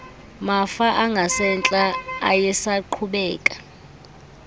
mafa angasentla ayesaqhubeka